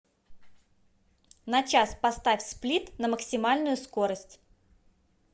на час поставь сплит на максимальную скорость